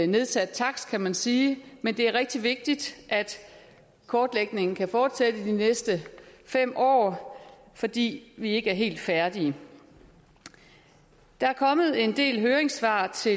nedsat takst kan man sige men det er rigtig vigtigt at kortlægningen kan fortsætte de næste fem år fordi vi ikke er helt færdige der er kommet en del høringssvar til